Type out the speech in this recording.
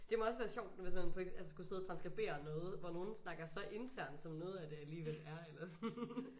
Det må også være sjovt hvis man altså skulle sidde og transskribere noget hvor nogle snakker så internt som noget af det alligevel er eller sådan